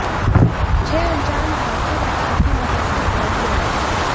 छह अनजान ढांचे रडार की मदद से समझ में आये